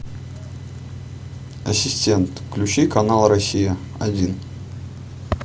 ассистент включи канал россия один